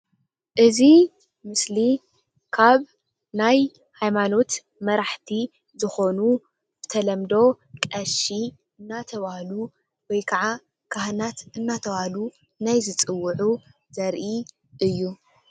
እዚ ምስሊ ካብ ናይ ሃይማኖት መራሕቲ ዝኾኑ ብተለምዶ ቐሺ እንዳተባሃሉ ወይከዓ ካሃናት እንዳተባሃሉ ናይ ዝፅውዑ ዘርኢ እዩ።